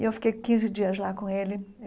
E eu fiquei quinze dias lá com ele.